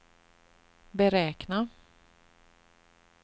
beräkna